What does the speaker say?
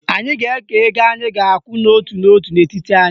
Anyị ga-eke ego anyị ga-akwụ n'otu n'otu n'etiti anyị